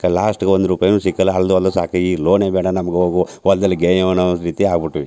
Last ಗೆ ಒಂದ್ ರುಪಾಯ್ ನು ಸಿಕ್ಕಲ್ಲಾ ಹಲದು ಹಲದು ಸಾಕಾಗಿ ಲೋನೆ ಬೆಡಾ ನಮ್ಮಗು ಹೋಗು ಹೋಲ್ ದಲ್ಲಿ ಗೇಯೋಣ ಅಂತ ರೀತಿ ಆಗ್ ಬಿಟ್ಟಿವಿ.